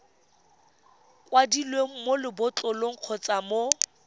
kwadilweng mo lebotlolong kgotsa mo